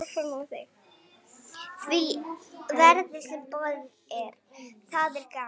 því verði, sem boðið er.